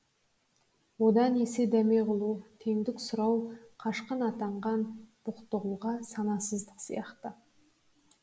одан есе дәме ғылу теңдік сұрау қашқын атанған бақтығұлға санасыздық сияқты